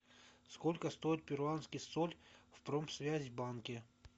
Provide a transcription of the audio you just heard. сколько стоит перуанский соль в промсвязьбанке